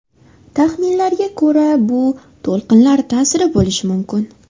Taxminlarga ko‘ra, bu to‘lqinlar ta’sir bo‘lishi mumkin.